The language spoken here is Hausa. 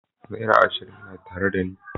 Naira ashirin na tare dani.